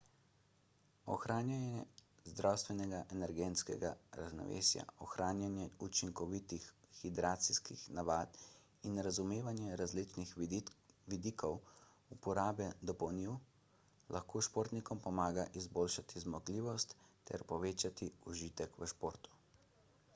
ohranjanje zdravega energetskega ravnovesja ohranjanje učinkovitih hidracijskih navad in razumevanje različnih vidikov uporabe dopolnil lahko športnikom pomaga izboljšati zmogljivost ter povečati užitek v športu